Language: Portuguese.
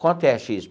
Quanto é a xis?